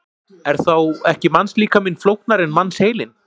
Er þá ekki mannslíkaminn flóknari en mannsheilinn?